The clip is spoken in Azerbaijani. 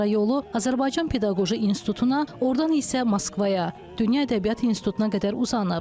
Sonra yolu Azərbaycan pedaqoji institutuna, ordan isə Moskvaya, dünya ədəbiyyatı institutuna qədər uzanıb.